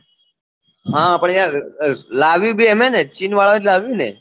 હા પણ યાર લાવ્યું અ અ ભી એમને ચીન વાળા એ લાવ્યું ને